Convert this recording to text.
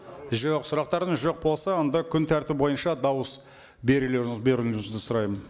жоқ сұрақтарыңыз жоқ болса онда күн тәртібі бойынша дауыс берулеріңіз беруіңізді сұраймын